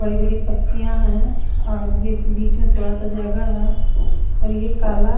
बड़ी बड़ी पत्तिया है और ये बिच में थोडासा जगा है हुए ये काला--